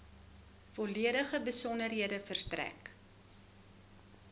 volledige besonderhede verstrek